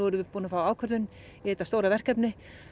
búin að fá ákvörðun í þetta stóra verkefni